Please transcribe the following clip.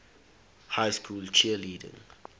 high school cheerleading